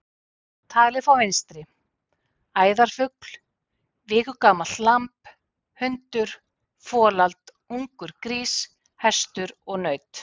Talið frá vinstri: æðarfugl, viku gamalt lamb, hundur, folald, ungur grís, hestur og naut.